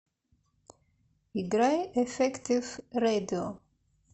играй эффектив рэдио